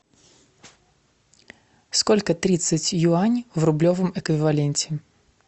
сколько тридцать юаней в рублевом эквиваленте